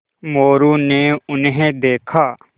मोरू ने उन्हें देखा